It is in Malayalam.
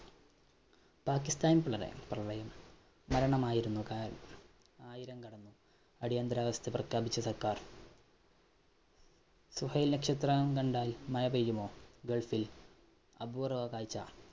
പാകിസ്ഥാന്‍ പ്രളയം മരണമായിരുന്നു കാരണം ആയിരം കടന്നു. അടിയന്തരാവസ്ഥ പ്രഖ്യാപിച്ച് സര്‍ക്കാര്‍. സുഹൈല്‍ നക്ഷത്രം കണ്ടാല്‍ മഴ പെയ്യുമോ? ഗള്‍ഫില്‍ അപൂര്‍വ്വ കാഴ്ച്ച.